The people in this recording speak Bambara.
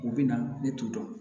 U bɛ na ne t'u dɔn